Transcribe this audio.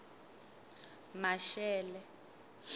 maxele